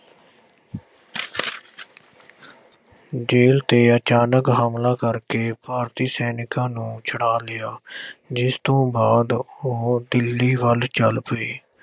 ਜੇਲ੍ਹ 'ਤੇ ਅਚਾਨਕ ਹਮਲਾ ਕਰਕੇ ਭਾਰਤੀ ਸੈਨਿਕਾਂ ਨੂੰ ਛੁਡਾ ਲਿਆ, ਜਿਸ ਤੋਂ ਬਾਅਦ ਉਹ ਦਿੱਲੀ ਵੱਲ ਚੱਲ ਪਏ।